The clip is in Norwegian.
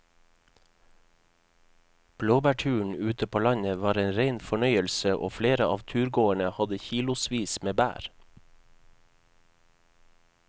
Blåbærturen ute på landet var en rein fornøyelse og flere av turgåerene hadde kilosvis med bær.